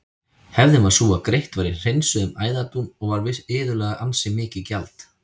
Hefðin var sú að greitt var í hreinsuðum æðadún og var iðulega ansi mikið gjald.